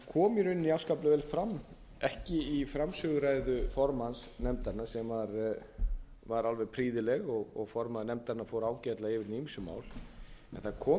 rauninni afskaplega vel fram ekki í framsöguræðu formanns nefndarinnar sem var alveg prýðileg og formaður nefndarinnar fr ágætlega yfir hin ýmsu mál en það kom